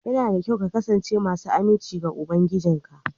Yana da kyau ka kasance masu aminci ga ubangijinka